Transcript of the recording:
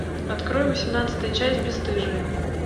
открой восемнадцатая часть бесстыжие